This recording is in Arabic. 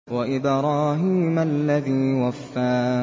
وَإِبْرَاهِيمَ الَّذِي وَفَّىٰ